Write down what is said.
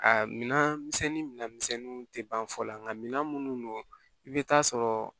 A minan misɛnnin mina misɛnninw tɛ ban fɔlɔ nka mina minnu don i bɛ taa sɔrɔ